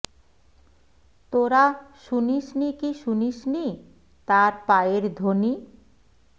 তোরা শুনিস নি কি শুনিস নি তার পায়ের ধ্বনি